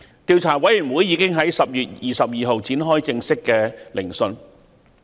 調查委員會已在10月22日展開正式聆訊。